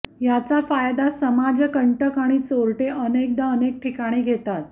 याचा फायदा समाजकंटक आणि चोरटे अनेकदा अनेक ठिकाणी घेतात